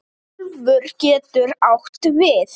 Úlfur getur átt við